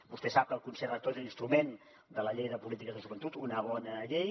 vostè sap que el consell rector és l’instrument de la llei de polítiques de joventut una bona llei